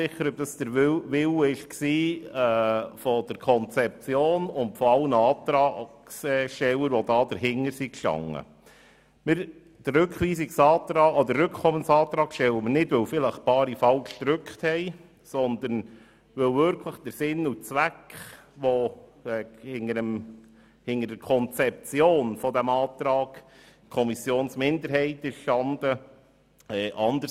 Wir stellen diesen Rückkommensantrag nicht deshalb, weil vielleicht einige den falschen Knopf gedrückt haben, sondern weil wahrscheinlich ein anderer Sinn und Zweck hinter der Konzeption dieses Antrags der Kommissionsminderheit gestanden hat.